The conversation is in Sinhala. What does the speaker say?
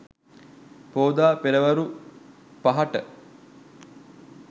පෝදා පෙරවරු 5.00 ට